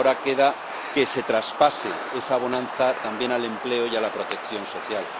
Ahora queda que se traspase esa bonanza también al empleo y a la protección social.